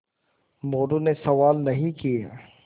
मोरू ने सवाल नहीं किये